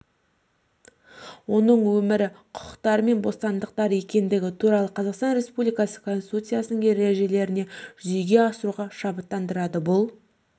оның өмірі құқықтары мен бостандықтары екендігі туралы қазақстан республикасы конституциясының ережелерін жүзеге асыруға шабыттандырады бұл